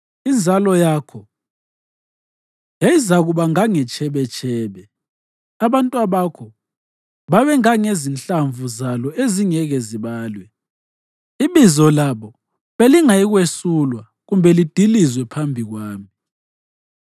Inzalo yakho yayizakuba ngangetshebetshebe, abantwabakho babe ngangezinhlamvu zalo ezingeke zibalwe; ibizo labo belingayikwesulwa kumbe lidilizwe phambi kwami.”